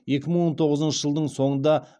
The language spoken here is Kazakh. екімың он тоғызыншы жылдың соңында